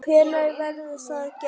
Hvenær verður það gert?